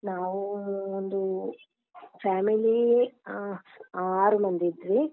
ನಾವು ಅಹ್ ಒಂದು family ಆ~ ಆರು ಮಂದಿ ಇದ್ವಿ.